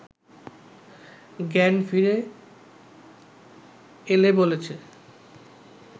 জ্ঞান ফিরে এলে বলেছে